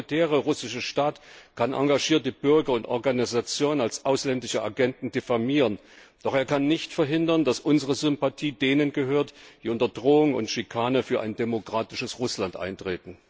Der autoritäre russische Staat kann engagierte Bürger und Organisationen als ausländische Agenten diffamieren, doch er kann nicht verhindern, dass unsere Sympathie denen gehört, die unter Drohung und Schikanen für ein demokratisches Russland eintreten.